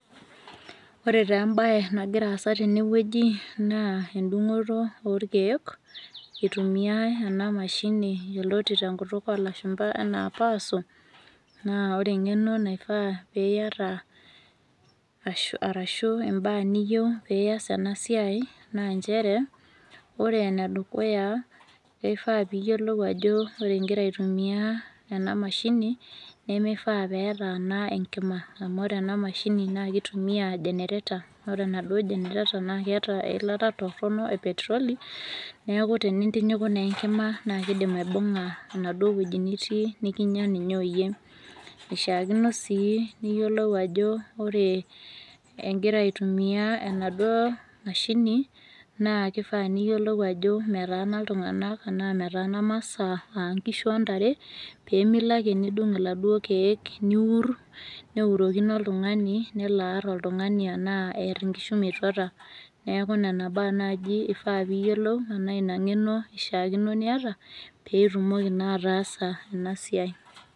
ore taa ebae nagira aasa tene wueji naa edung'oto orkeek. itumiae ena mashini yioloti tenkyutuk olashumpa, anaa power saw na ore engeno naifaa pee iyata arashu immbaa niyieu pee iyas ena siiai naa nchere, ore ene dukuya keifaa pee iyiolou ajo ore igira aitumia, ena mashini nemifaa pee etaana enkima. amu ore ena mashini na kitumia generator ore enaduo generator naa keeta eilata toronok e petroli neku tenintinyiku naa enkima naa kidim aibunga enaduoo wueji nitii nikinyia ninye oyie. eishaakino sii niyiolou ajo ore igira aitumia enaduo mashini, naa kifaa niyiolou ajo metaana iltunganak anaa metaana masaa, aa nkishu ontare, pee melo ake nidung' iladuoo keek niur neurokino oltungani, nelo aar oltungani anaa eer inkishu metuata. neku nena baa naaji ifaa pee iyiolou anaa ina ngeno ishaakino niyata pee itumoki naa ataasa ena siai.